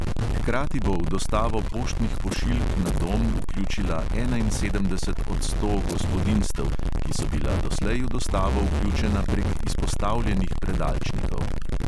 Hkrati bo v dostavo poštnih pošiljk na dom vključila enainsedemdeset od sto gospodinjstev, ki so bila doslej v dostavo vključena prek izpostavljenih predalčnikov.